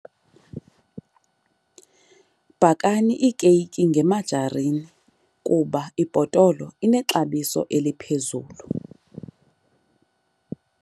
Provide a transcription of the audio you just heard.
Bhakani iikeyiki ngemajarini kuba ibhotolo inexabiso eliphezulu.